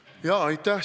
Aitäh!